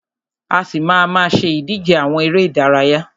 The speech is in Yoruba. A ṣì má a má ṣe ìdíje àwọn eré ìdárayá.